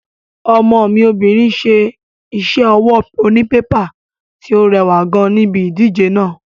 Ọmọ mi obìnrin ṣe iṣẹ́ ọwọ́ onípépà tí ó rẹwà gan níbi ìdíje náà.